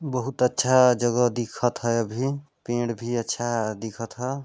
बहुत अच्छा जगह दिखत है अभी पेड़ भी अच्छा दिखत ह।